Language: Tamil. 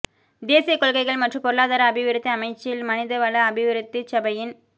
தேசியக் கொள்கைகள் மற்றும் பொருளாதார அபிவிருத்தி அமைச்சில் மனித வள அபிவிருத்திச் சபையின்